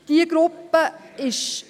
Dieser Gruppe ist …